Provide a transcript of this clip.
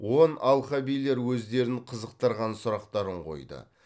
он алқабилер өздерін қызықтырған сұрақтарын қойды